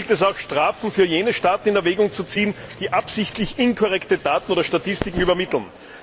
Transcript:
Hier gilt es auch, Strafen für diejenigen Staaten in Erwägung zu ziehen, die absichtlich inkorrekte Daten oder Statistiken übermitteln.